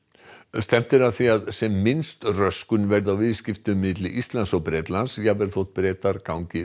stefnt er að því að sem minnst röskun verði á viðskiptum milli Íslands og Bretlands jafnvel þótt Bretar gangi